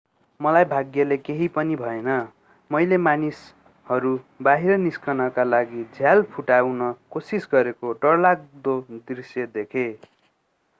मलाई भाग्यले केहि पनि भएन मैले मानिसहरू बाहिर निस्कनका लागि झ्याल फुटाउन कोशिस गरेको डरलाग्दो दृश्य देखे